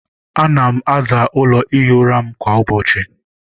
Ana m aza ụlọ ihi ụra m kwa ụbọchị.